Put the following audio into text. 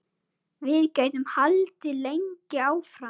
Við gætum haldið lengi áfram.